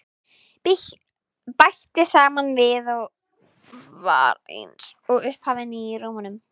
Bætti síðan við og var eins og upphafin í rómnum: